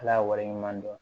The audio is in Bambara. Ala ye wale ɲuman dɔn